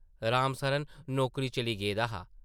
राम सरन नौकरी चली गेदा हा ।